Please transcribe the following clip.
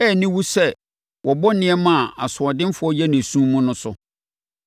Ɛyɛ aniwu sɛ wɔbɔ nneɛma a asoɔdenfoɔ yɛ no esum mu no so.